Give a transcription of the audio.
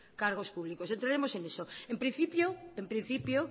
cargos públicos entraremos en eso en principio en principio